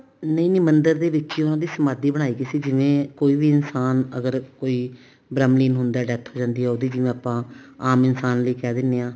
ਨਹੀਂ ਨਹੀਂ ਮੰਦਿਰ ਦੇ ਵਿੱਚ ਹੀ ਉਹਨਾ ਦੀ ਸਮਾਧੀ ਬਣਾਈ ਗਈ ਸੀ ਜਿਵੇਂ ਕੋਈ ਵੀ ਇਨਸਾਨ ਅਗਰ ਕੋਈ ਬ੍ਰਹਮ ਲੀਨ ਹੁੰਦਾ death ਹੋ ਜਾਂਦੀ ਆ ਉਹਦੀ ਜਿਵੇਂ ਆਪਾਂ ਆਮ ਇਨਸਾਨ ਲਈ ਕਹਿ ਦਿੰਦੇ ਹਾਂ